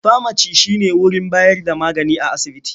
Famaci shi ne wurin bayar da magani a asibiti.